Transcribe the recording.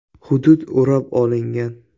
Hudud o‘rab olingan.